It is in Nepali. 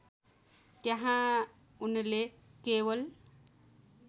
त्यहाँ उनले केवल